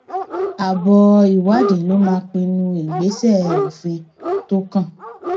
àbọ ìwádìí ló máa pinnu ìgbésẹ òfin tó kàn